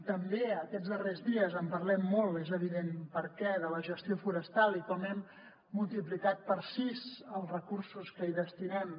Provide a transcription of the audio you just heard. també aquests darrers dies en parlem molt és evident per què de la gestió forestal i com hem multiplicat per sis els recursos que hi destinem